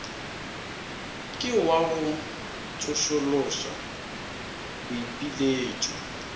ke wa go tsošološa boipiletšo